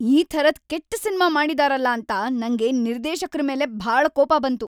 ಈ ಥರದ್ ಕೆಟ್ಟ್ ಸಿನ್ಮಾ ಮಾಡಿದಾರಲ ಅಂತ ನಂಗೆ ನಿರ್ದೇಶಕ್ರ ಮೇಲೆ ಭಾಳ ಕೋಪ ಬಂತು.